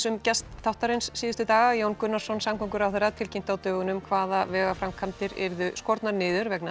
um gest þáttarins síðustu daga Jón Gunnarsson samgönguráðherra tilkynnti á dögunum hvaða vegaframkvæmdir yrðu skornar niður vegna